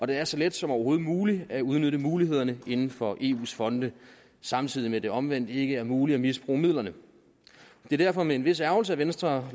det er så let som overhovedet muligt at udnytte mulighederne inden for eus fonde samtidig med at det omvendt ikke er muligt at misbruge midlerne det er derfor med en vis ærgrelse at venstre